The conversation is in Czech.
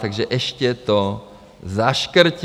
Takže ještě to zaškrtí.